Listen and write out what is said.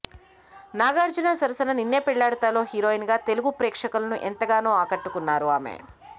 నాగార్జున సరసన నిన్నే పెళ్లాడతాలో హీరోయిన్ గా తెలుగు ప్రేక్షకులను ఎంతగానో ఆకట్టుకున్నారు ఆమే